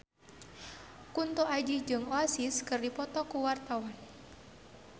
Kunto Aji jeung Oasis keur dipoto ku wartawan